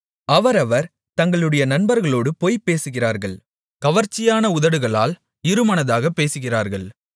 அவரவர் தங்களுடைய நண்பர்களோடு பொய் பேசுகிறார்கள் கவர்ச்சியான உதடுகளால் இருமனதாகப் பேசுகிறார்கள்